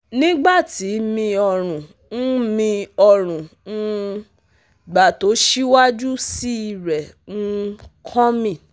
nigbati mi ọrun n mi ọrun n um gba to siwaju sii rẹ um coming